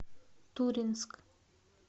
туринск